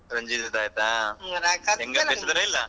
ರಂಜಿತ್ದ್ ಆಯ್ತಾ ಯಂಗ್ ಅದಾರ್ ಬೇಷ್ ಅದರ ಇಲ್ಲಾ?